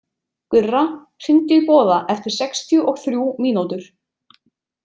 Gurra, hringdu í Boða eftir sextíu og þrjú mínútur.